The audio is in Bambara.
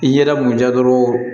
I yɛrɛ m'u diya dɔrɔn